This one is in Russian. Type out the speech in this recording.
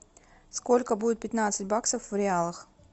сколько будет пятнадцать баксов в реалах